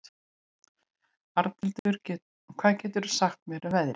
Arnhildur, hvað geturðu sagt mér um veðrið?